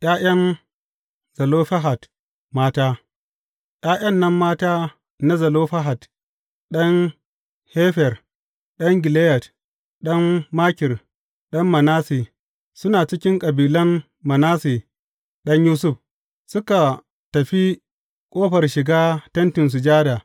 ’Ya’yan Zelofehad mata ’Ya’yan nan mata na Zelofehad, ɗan Hefer, ɗan Gileyad, ɗan Makir, ɗan Manasse, suna cikin kabilan Manasse ɗan Yusuf, suka tafi ƙofar shiga Tentin Sujada.